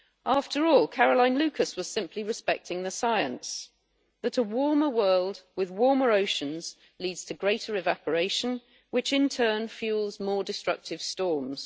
After all, Caroline Lucas was simply respecting the science that a warmer world with warmer oceans leads to greater evaporation, which in turn fuels more destructive storms.